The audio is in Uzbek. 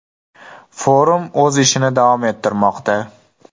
Forum o‘z ishini davom ettirmoqda.